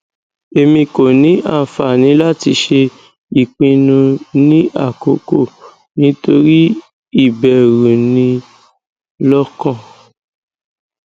emi ko ni anfani lati ṣe ipinnu ni akoko nitori iberu ni lokan